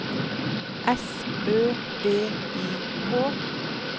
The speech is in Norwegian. S Ø V I K